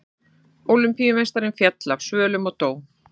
Ólympíumeistarinn féll af svölum og dó